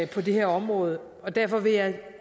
på det her område og derfor vil jeg